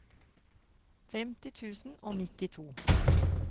femtien tusen og nittito